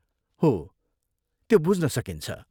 हो, त्यो बुझ्न सकिन्छ।